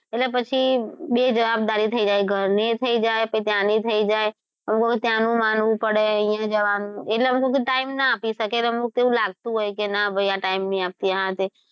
એટલે પછી બે જવાબદારી થઈ જાય પછી ઘરની થઈ જાય પછી ત્યાં ની થઈ જાય અને બધું ત્યાંનું માનવું પડે અહિયાં જવાનું એટલે time ના આપી શકે એટલે અમુક એવું લાગતું હોય કે ના ભઈ આ time નહી આપતી આ તે,